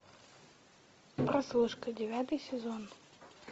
прослушка девятый сезон